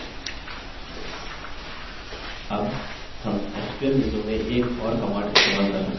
अब हम sql window में एक और command इस्तेमाल कर सकते हैं